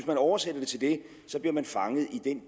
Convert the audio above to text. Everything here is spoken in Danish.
man oversætter det til det så bliver man fanget i den